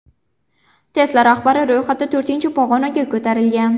Tesla rahbari ro‘yxatda to‘rtinchi pog‘onaga ko‘tarilgan.